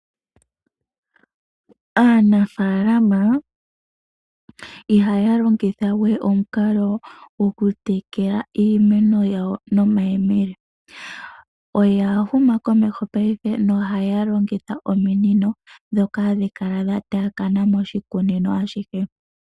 Aanafalama ihaya longitha we omukalo goku tekela iimeno yawo nomayele oya huma komeho paife ohaya longitha ominino dhaatakana noshikunino.